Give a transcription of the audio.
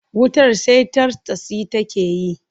Wutar sai tartsatsi take yi.